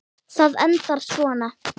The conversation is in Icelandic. Það endar svona